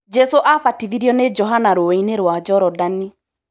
Jesu abatithiorio nĩ Johana rũĩ-inĩ rwa Jorodani.